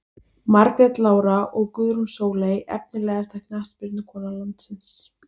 Margrét Lára og Guðrún Sóley Efnilegasta knattspyrnukona landsins?